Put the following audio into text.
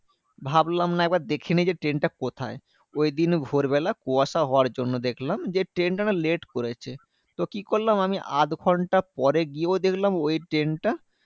ভাবলাম না একবার দেখে নি যে, ট্রেনটা কোথায়? ওই দিন ভোরবেলা কুয়াশা হওয়ার জন্য দেখলাম, যে ট্রেনটা না late করেছে। তো কি করলাম? আমি আধঘন্টা পরে গিয়েও দেখলাম ওই ট্রেনটা